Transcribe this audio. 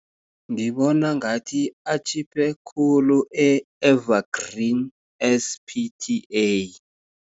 Ngibona ngathi atjhiphe khulu, e-Evergreen, S_P_T_A.